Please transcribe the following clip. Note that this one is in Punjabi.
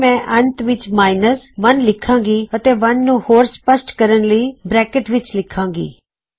ਫਿਰ ਮੈਂ ਅੰਤ ਵਿੱਚ ਮਾਇਨਸ 1 ਲਿਖਾਣ ਗੀ ਅਤੇ 1 ਨੂੰ ਹੋਰ ਸਪਸ਼ਟ ਕਰਣ ਲਈ ਬਰੈਕਟ ਵਿੱਚ ਲਿਖਾਂ ਗੀ